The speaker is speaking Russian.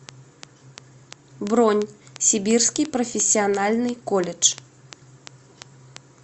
бронь сибирский профессиональный колледж